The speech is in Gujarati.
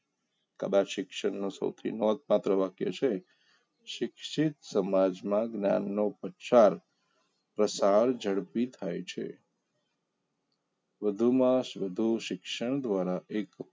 કદાચ શિક્ષણનો સૌથી નોંધપાત્ર વકયા છે શિક્ષિત સમાજમાં જ્ઞાનનો પ્રચાર પ્રસાર ઝડપી થાય છે વધુમાં વધુ શિક્ષણ દ્વારા એક